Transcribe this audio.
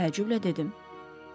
təəccüblə dedim.